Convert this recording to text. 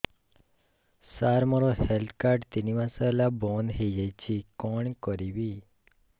ସାର ମୋର health card ତିନି ମାସ ହେଲା ବନ୍ଦ ହେଇଯାଇଛି କଣ କରିବି